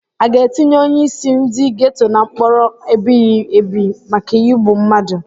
Aga etinye onyeisi ndi geto na mkpọrọ ebighị ebi maka igbu mmadu?